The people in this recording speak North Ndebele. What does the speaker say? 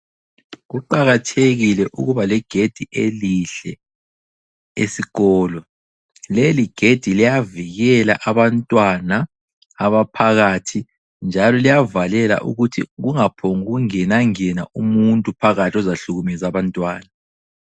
Kuqakathekile ukuba legedi elihle esikolo. Leligedi liyavikela abantwana abaphakathi njalo liyavalela ukuthi kungaphongungenangena umuntu phakathi ozahlukumeza abantwana.